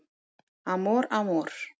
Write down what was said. Amor Amor